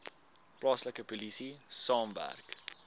plaaslike polisie saamwerk